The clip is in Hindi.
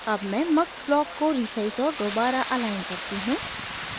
अब मैं mux ब्लॉक को रीसाइज़ और दोबारा अलाइन करती हूँ